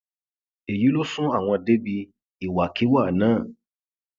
èyí ló sún àwọn débi ìwàkiwà náà